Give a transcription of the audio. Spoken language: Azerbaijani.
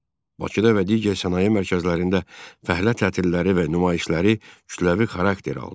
Bakıda və digər sənaye mərkəzlərində fəhlə tətilləri və nümayişləri kütləvi xarakter aldı.